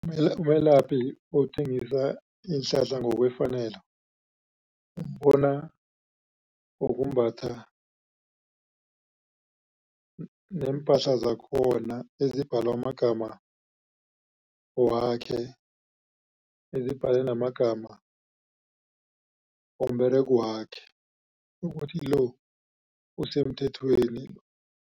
Umelaphi othengisa iinhlahla ngokwefanelo. Umbona ngokumbatha neempahla zakhona ezibhalwe amagama wakhe, ezibhalwe namagama womberegwakhe ukuthi lo usemthethweni.